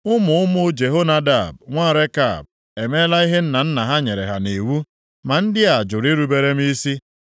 Ụmụ ụmụ Jehonadab, nwa Rekab, emeela ihe nna nna ha nyere ha nʼiwu, ma ndị a jụrụ irubere m isi.’